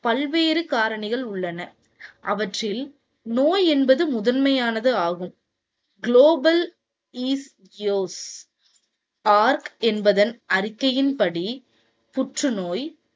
பல்வேறு காரணிகள் உள்ளன. அவற்றில் நோய் என்பது முதன்மையானது ஆகும். global east yogs org என்பதன் அறிக்கையின்படி புற்றுநோய்